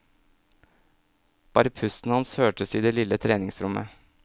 Bare pusten hans hørtes i det lille treningsrommet.